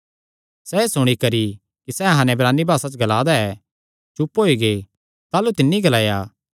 सैह़ एह़ सुणी करी कि सैह़ अहां नैं इब्रानी भासा च ग्ला दा ऐ चुप होई गै ताह़लू तिन्नी ग्लाया